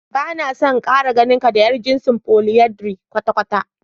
Bana so in Kara ganinka da yar jinsin "Polyandry" kwata kwata.